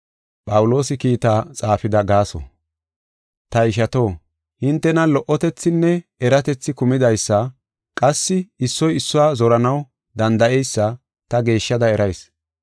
Ta ishato, hintenan lo77otethinne eratethi kumidaysa qassi issoy issuwa zoranaw danda7eysa ta geeshshada erayis.